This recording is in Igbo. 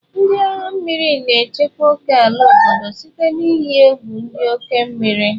Ndị agha mmiri na-echebe ókèala obodo site na iyi egwu dị n'oké osimiri.